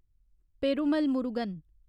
Perumal Murugan